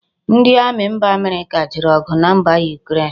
Ndi Ami mba America jere ogu na mba Ukraine